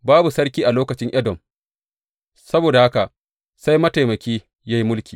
Babu sarki a lokacin Edom, saboda haka sai mataimaki ya yi mulki.